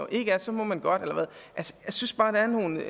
ikke er så må man godt eller hvad jeg synes bare at der